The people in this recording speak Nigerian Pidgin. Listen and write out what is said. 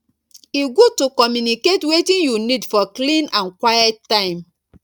e good to communicate wetin you need for clean and quiet time